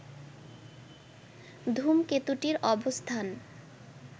ধূমকেতুটির অবস্থান